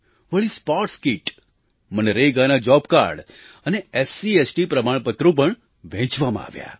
વળી sports kit મનરેગાના job card અને એસસીએસટી પ્રમાણપત્રો પણ વહેંચવામાં આવ્યા